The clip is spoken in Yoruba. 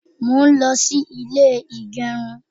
mo n lo sí ilè igerun